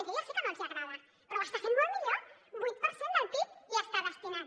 jo ja sé que no els agrada però ho està fent molt millor vuit per cent del pib hi està destinant